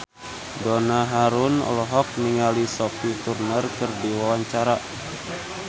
Donna Harun olohok ningali Sophie Turner keur diwawancara